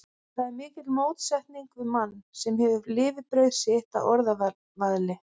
Það er mikil mótsetning við mann, sem hefur lifibrauð sitt af orðavaðli.